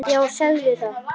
Já, segðu það!